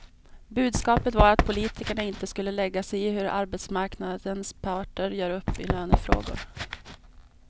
Budskapet var att politikerna inte skulle lägga sig i hur arbetsmarknadens parter gör upp i lönefrågor.